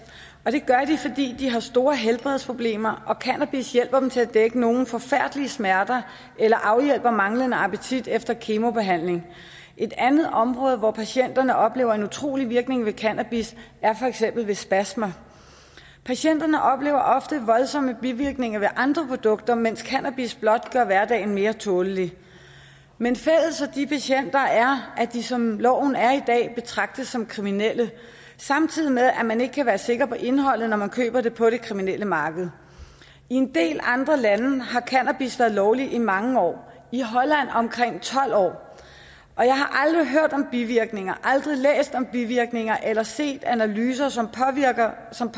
og det gør de fordi de har store helbredsproblemer og cannabis hjælper dem til at få dækket nogle forfærdelige smerter eller afhjælper manglende appetit efter kemobehandling et andet område hvor patienterne oplever en utrolig virkning ved cannabis er for eksempel ved spasmer patienterne oplever ofte voldsomme bivirkninger ved andre produkter mens cannabis blot gør hverdagen mere tålelig men fælles for de patienter er at de som loven er i dag betragtes som kriminelle samtidig med at man ikke kan være sikker på indholdet når man køber det på det kriminelle marked i en del andre lande har cannabis været lovlig i mange år i holland omkring tolv år og jeg har aldrig hørt om bivirkninger aldrig læst om bivirkninger eller set analyser som